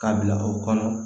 K'a bila o kɔnɔ